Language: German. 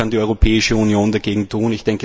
Was kann die Europäische Union dagegen tun?